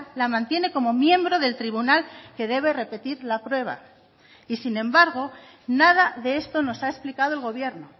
la mantiene como miembro del tribunal que debe repetir la prueba y sin embargo nada de esto nos ha explicado el gobierno